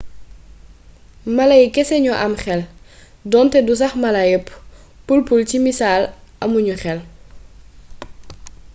mala yi kese ñoo am xel donte du sax mala yépp; pul-pul ci missal amu ñu xel